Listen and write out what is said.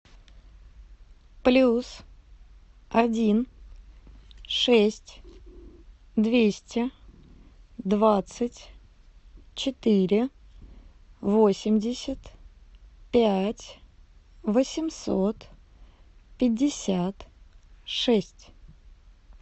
плюс один шесть двести двадцать четыре восемьдесят пять восемьсот пятьдесят шесть